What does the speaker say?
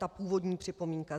Ta původní připomínka.